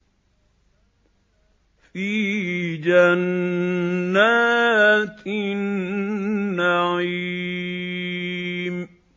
فِي جَنَّاتِ النَّعِيمِ